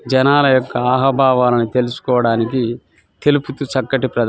జనల యొక్క అహబావనని తెలుసుకోవడానికి తెలుపుతు చక్కటి ప్రదేశ --